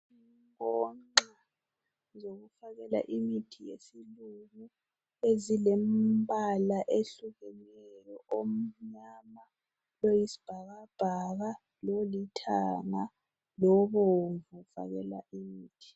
Inkonxa zokufakela imithi yesilungu ezilembala ehlukeneyo omnyama , oyisibhakabhaka, lolithanga lobomvu fakela imithi.